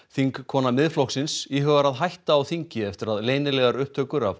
þingkona Miðflokksins íhugar að hætta á þingi eftir að leynilegar upptökur af